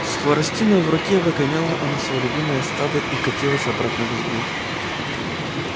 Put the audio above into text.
с хворостиной в руке выгоняла она своё любимое стадо и катилась обратно в избу